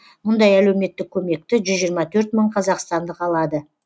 қазір сақтандыру қорынан мұндай әлеуметтік көмекті жүз жиырма төрт мың қазақстандық алады